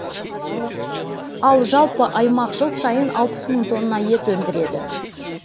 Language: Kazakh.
ал жалпы аймақ жыл сайын алпыс мың тонна ет өндіреді